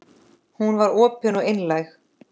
Hún var opin og einlæg.